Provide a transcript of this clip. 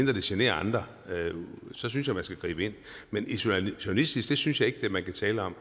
det generer andre for så synes jeg man skal gribe ind men isolationistisk synes jeg ikke man kan tale om